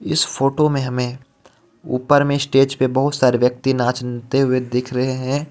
इस फोटो मे हमें ऊपर मे स्टेज पे बोहोत सारे व्यक्ति नाचते हुई दिख रहे हे.